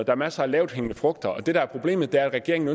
er masser af lavthængende frugter og det der er problemet er at regeringen